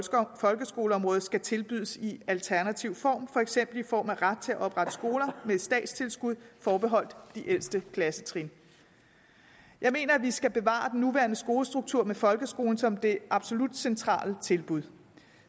folkeskoleområdet skal tilbydes i alternativ form for eksempel i form af ret til at oprette skoler med statstilskud forbeholdt de ældste klassetrin jeg mener at vi skal bevare den nuværende skolestruktur med folkeskolen som det absolut centrale tilbud